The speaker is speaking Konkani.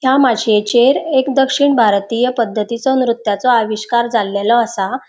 या माशीएचेर एक दक्षिण भारतीय पद्दतीचो नृत्याचो आविष्कार जाल्लेलो आसा.